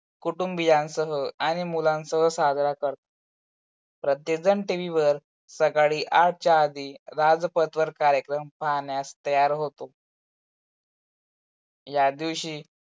कुटुबीयासह आणि मुलांसह साजरा करतात. प्रत्येकजण tv वर सकाळी आठच्या आधी राजपतवर कार्यक्रम पाहण्यास तयार होतो. या दिवशी